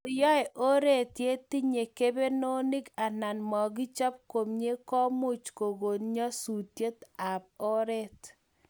Kotko yaa oretye tinye kebenonik anan makichop komie ko much kokon nyasutiet ab oret